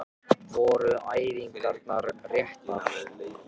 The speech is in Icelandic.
Voru æfingarnar réttar?